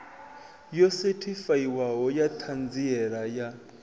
yo sethifaiwaho ya ṱhanziela ya